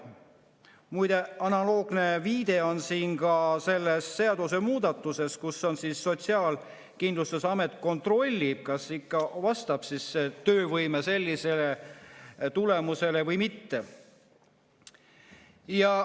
" Muide, analoogne viide on siin ka selles seadusemuudatuses, kus Sotsiaalkindlustusamet kontrollib, kas ikka vastab töövõime sellisele tulemusele või mitte.